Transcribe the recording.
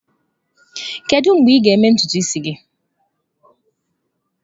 Kedu mgbe ị ga-eme ntutu isi gị?